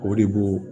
O de b'o